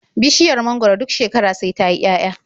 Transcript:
Bishiya mangwaro duk shekara sai ta yi 'ya'ya.